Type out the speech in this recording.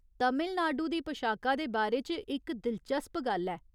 तमिलनाडु दी पशाका दे बारे च इक दिलचस्प गल्ल ऐ।